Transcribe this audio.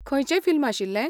खंयचें फिल्म आशिल्लें?